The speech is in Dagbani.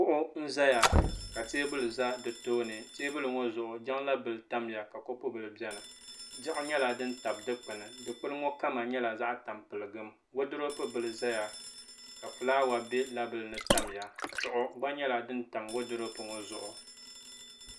kuɣu n ʒɛya ka teebuli ʒɛ di tooni teebuli ŋɔ zuɣu jiŋla bili tamya ka kopu bili biɛni diɣi nyɛla din tabi dikpuni dikpuni ŋɔ kama nyɛla zaɣ tampilim woodurop bili ʒɛya ka fulaawa bɛ la bili ni tamya chuɣu gba nyɛla din tam woodurop ŋɔ zuɣu